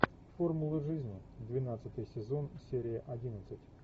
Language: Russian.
формула жизни двенадцатый сезон серия одиннадцать